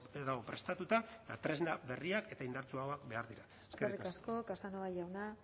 dago prestatuta eta tresna berriak eta indartsuagoak behar ditu eskerrik asko casanova jauna